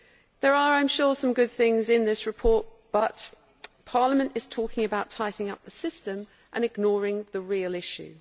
There are, I am sure, some good things in this report, but Parliament is talking about tidying up the system and ignoring the real issue.